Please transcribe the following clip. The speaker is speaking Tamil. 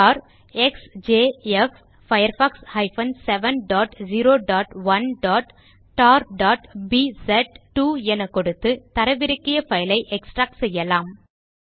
டார் எக்ஸ்ஜேஎஃப் firefox 701tarபிஸ்2 என கொடுத்து தரவிறக்கிய பைல் ஐ எக்ஸ்ட்ராக்ட் செய்யலாம்